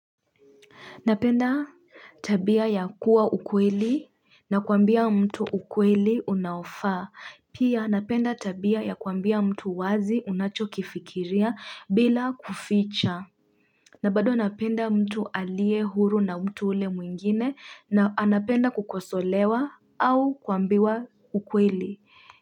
Napenda tabia ya kuwa mkweli na kuambia mtu ukweli unaofaa. Pia napenda tabia ya kuambia mtu uwazi unacho kifikiria bila kuficha. Na bado napenda mtu alie huru na mtu yule mwingine na anapenda kukosolewa au kuambiwa ukweli.